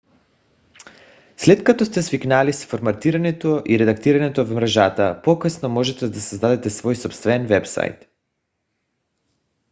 след като сте свикнали с форматирането и редактирането в мрежата по-късно можете да създадете свой собствен уебсайт